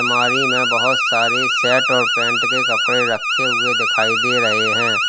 अलमारी में बोहोत सारे सेट और पैंट के कपड़े रखे हुए दिखाई दे रहे हैं।